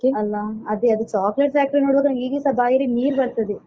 ಅಲಾ ಅದೇ ಅದು chocolate factory ನೋಡ್ವಾಗ ನಂಗೆ ಈಗಸ ಬಾಯಲ್ಲಿ ನೀರು ಬರ್ತದೆ.